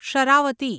Sharavati